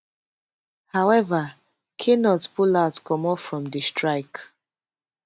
however knut pull out comot from di strike